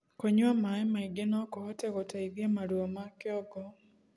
kũnyua maĩ maĩ ngi nokuhote guteithia maruo ma kĩongo